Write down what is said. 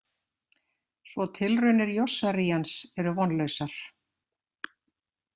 Svo tilraunir Yossarians eru vonlausar.